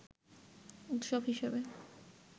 উৎস হিসাবে